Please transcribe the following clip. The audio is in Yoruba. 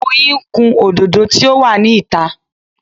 Oyin ń kun òdòdó tí ó wà ní ìta.